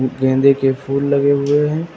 गेंदे के फूल लगे हुए हैं।